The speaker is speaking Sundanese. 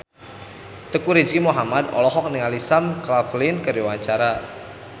Teuku Rizky Muhammad olohok ningali Sam Claflin keur diwawancara